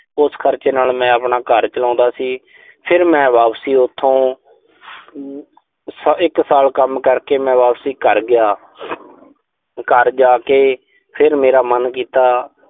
ਉਸ ਖਰਚੇ ਨਾਲ ਮੈਂ ਆਪਣਾ ਘਰ ਚਲਾਉਂਦਾ ਸੀ। ਫਿਰ ਮੈਂ ਵਾਪਸੀ ਉਥੋਂ ਅਮ ਇੱਕ ਸਾਲ ਕੰਮ ਕਰਕੇ ਮੈਂ ਵਾਪਸੀ ਕਰ ਗਿਆ। ਘਰ ਜਾ ਕੇ ਫਿਰ ਮੇਰਾ ਮਨ ਕੀਤਾ